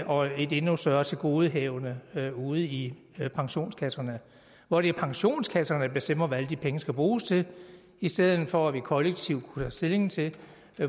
og et endnu større tilgodehavende ude i pensionskasserne hvor det er pensionskasserne der bestemmer hvad alle de penge skal bruges til i stedet for at vi kollektivt kunne tage stilling til